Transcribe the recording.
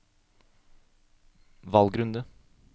valgrunde